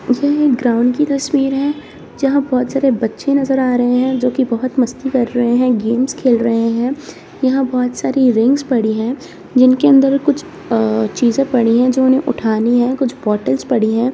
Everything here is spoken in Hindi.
ये एक ग्राउंड की तस्वीर है जहाँ बहुत सारे बच्चे नज़र आ रहें हैं जो की बहुत मस्ती कर रहें हैं गेम्स खेल रहें हैं। यहाँ बहुत सारी रिंग्स पड़ी हैं जिनके अंदर कुछ चीज़े पड़ी है जो उन्हें उठानी है कुछ बॉटल्स पड़ी हैं।